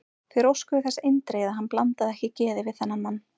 Þeir óskuðu þess eindregið, að hann blandaði ekki geði við þennan mann.